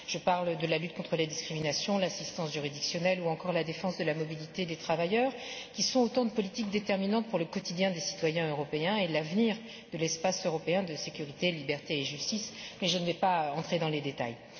Je parle de la lutte contre les discriminations, l'assistance juridictionnelle ou encore la défense de la mobilité des travailleurs, qui sont autant de politiques déterminantes pour le quotidien des citoyens européens et l'avenir de l'espace européen de sécurité, de liberté et de justice, sans entrer dans les détails.